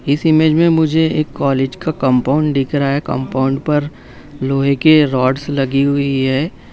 इस इमेज में मुझे एक कॉलेज का कंपाउंड दिख रहा है कंपाउंड पर लोहे के रौडस लगी हुई है।